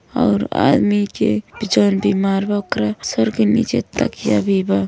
और आदमी के जउन बीमार बा ओकरा सर के निचे तकिया भी बा।